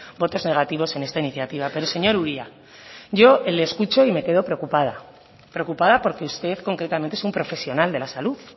votos negativos en esta iniciativa pero señor uria yo le escucho y me quedo preocupada preocupada porque usted concretamente es un profesional de la salud